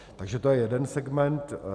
Takže to je jeden segment.